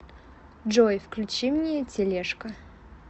джой включи мне телешка